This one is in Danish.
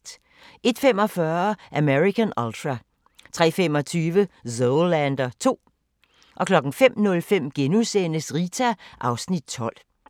01:45: American Ultra 03:25: Zoolander 2 05:05: Rita (Afs. 12)*